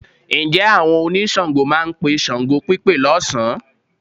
Ǹjẹ́ àwọn oníṣàngó máa pe ṣàngópípe lọ́sàn-án?